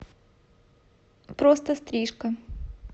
просто стрижка